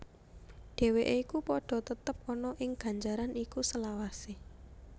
Dheweke iku padha tetep ana ing ganjaran iku selawase